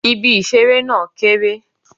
Ibi ìṣeré náà kéré.